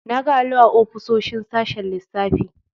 Na ga allo a ofisoshin sashen lissafi.